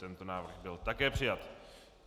Tento návrh byl také přijat.